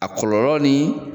A kɔlɔlɔ ni